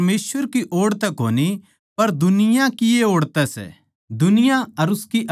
पर थारे ताहीं तो पवित्र आत्मा मसीह के जरिये मिला सै इस करकै थम सारी सच्चाई नै जाणो सों